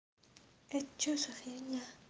это что за фигня